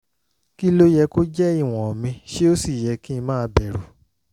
kí ló yẹ kó jẹ́ ìwọ̀n mi ṣé ó sì yẹ kí n máa bẹ̀rù?